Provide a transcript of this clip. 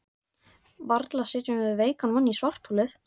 Varla setjum við veikan mann í svartholið?